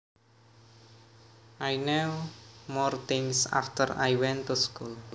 I knew more things after I went to school